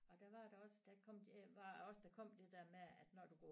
Og der var der også der kom de var også der kom det der med at når du